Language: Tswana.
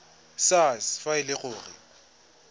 sars fa e le gore